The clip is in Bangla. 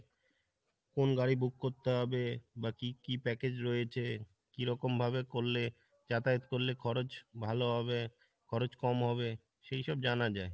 কোন গাড়ি book করতে হবে বা কী কী package রয়েছে, কী রকম ভাবে করলে যাতায়াত করলে খরচ ভালো হবে খরচ কম হবে সেই সব জানা যাই